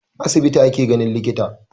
A asibiti ake ganin likita.